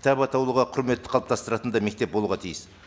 кітап атаулыға құрметті қалыптастыратын да мектеп болуға тиіс